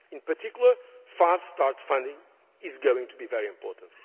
In particular, fast start funding is going to be very important.